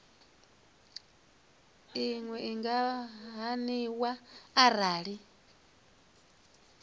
iwe i nga haniwa arali